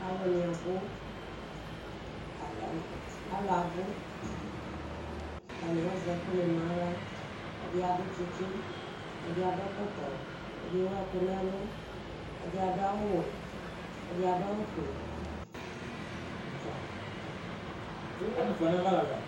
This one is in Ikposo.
Aluni abu atani azɛ ɛku nu aɣla ɛdi adu tsitsi ɛdi adu ɛkɔtɔ ɛdi ewu ɛku nu ɛlu ɛdi adu awu wɛ ɛdi adu awu fue